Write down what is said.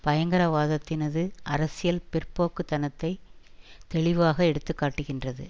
பயங்கரவாதத்தினது அரசியல் பிற்போக்குத்தனத்தை தெளிவாக எடுத்து காட்டுகின்றது